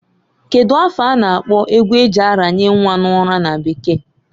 Kedu afa a na-akpọ egwu e ji aranye nnwa n'ụra na bekee?